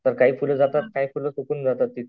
तर काही फुल जातात काही फुल सुकून जातात.